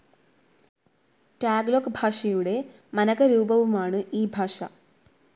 Tagalog ഭാഷയുടെ മനകരൂപവുമാണ് ഈ ഭാഷ.